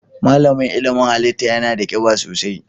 Malamin ilimin halitta yana da kiba sosai.